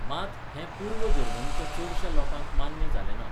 मात, हें, पूर्व जर्मनीच्या चडश्या लोकांक मान्य जालें ना.